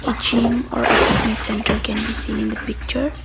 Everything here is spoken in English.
a zym are fitness and entered can be seen in the picture.